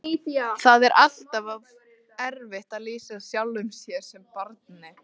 Það er alltaf erfitt að lýsa sjálfum sér sem barni.